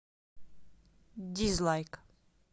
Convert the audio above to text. дизлайк